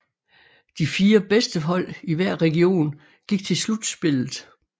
De 4 bedste hold i hver region gik til slutspillet